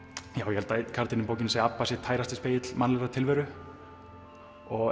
ég held að einn karakterinn í bókinni segi að Abba sé tærasti spegill mannlegrar tilveru